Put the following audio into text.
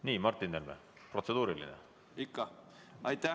Nii, Martin Helme, kas protseduuriline küsimus?